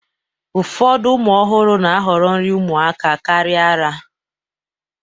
Ụfọdụ ụmụ ọhụrụ na-ahọrọ nri ụmụaka karịa ara